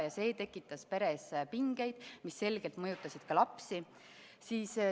Ja see tekitas peres pingeid, mis selgelt mõjutasid ka lapsi.